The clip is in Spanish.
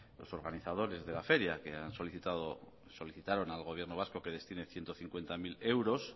los organizadores de la feria que solicitaron al gobierno vasco que destine ciento cincuenta mil euros